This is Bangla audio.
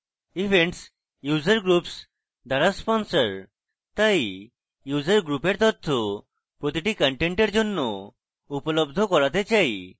events user groups দ্বারা sponsored তাই user group এর তথ্য প্রতিটি কন্টেন্টের জন্য উপলব্ধ করাতে চাই